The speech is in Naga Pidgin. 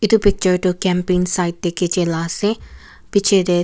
edu picture tu camping side te khichila ase bichae--